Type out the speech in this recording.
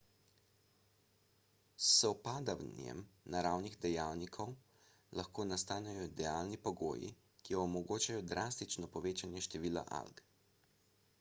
s sovpadanjem naravnih dejavnikov lahko nastanejo idealni pogoji ki omogočajo drastično povečanje števila alg